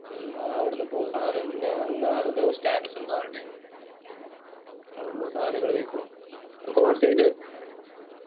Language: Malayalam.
മ്മ് അവിടുന്ന് ഇപ്പൊ സാനം ഞാൻ അന്ന് ആരതോ status എന്തോ കണ്ടിരുന്നു അവിടുന്ന് സാനങ്ങൾ വാങ്ങിക്കുണു wholesale